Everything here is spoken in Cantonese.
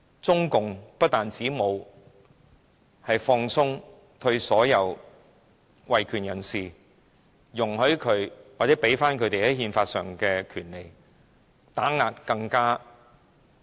中共不但沒有放鬆對所有維權人士的打壓，沒有給予他們在憲法上的權利，反而打壓得更厲害。